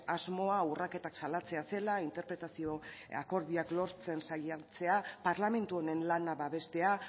asmoa urraketak salatzea zela interpretazio akordioak lortzen saiatzea parlamentu honen lana babestea